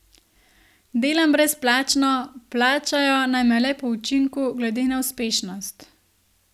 Delam brezplačno, plačajo naj me le po učinku, glede na uspešnost.